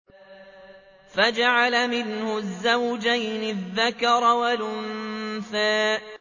فَجَعَلَ مِنْهُ الزَّوْجَيْنِ الذَّكَرَ وَالْأُنثَىٰ